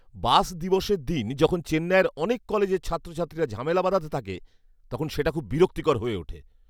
বাস দিবসের দিন যখন চেন্নাইয়ের অনেক কলেজের ছাত্রছাত্রীরা ঝামেলা বাধাতে থাকে, তখন সেটা খুব বিরক্তিকর হয়ে ওঠে।